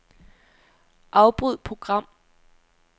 Afbryd program.